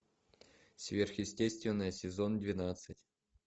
сверхъестественное сезон двенадцать